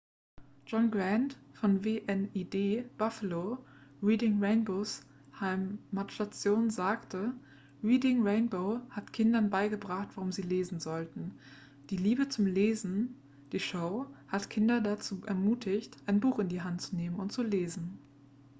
"john grant von wned buffalo reading rainbows heimatstation sagte: "reading rainbow hat kindern beigebracht warum sie lesen sollten ... die liebe zum lesen - [die show] hat kinder dazu ermutigt ein buch in die hand zu nehmen und zu lesen.""